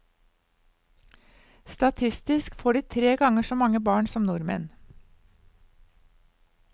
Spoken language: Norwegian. Statistisk får de tre ganger så mange barn som nordmenn.